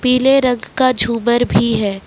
पीले रंग का झूमर भी है।